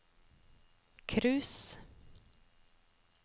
cruise